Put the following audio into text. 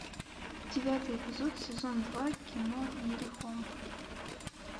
девятый эпизод сезон два кино иерихон